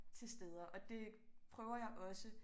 Til steder og det prøver jeg også